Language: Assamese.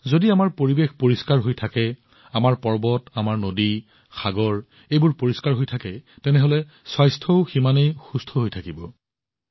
যদি আমাৰ পৰিৱেশ পৰিষ্কাৰ হৈ থাকে আমাৰ পৰ্বত নদী সাগৰ পৰিষ্কাৰ হৈ থাকে তেনেহলে স্বাস্থ্যও উন্নত হব